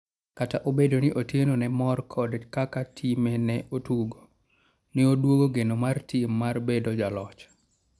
kata obedoni Otieno ne omor kod kaka time ne otugo, ne oduoko geno mar tim mar bedo joloch